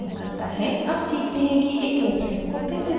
अब सीखते हैं कि एक reference को कैसे बनाते हैं